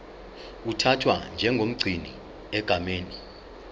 uthathwa njengomgcini egameni